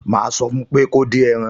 Màá sọ fún pé kí ó dín ẹran